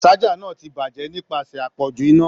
Saja náà ti bajẹ nipasẹ apọju iná.